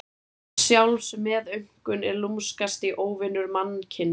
Sjálfsmeðaumkun er lúmskasti óvinur mannkyns.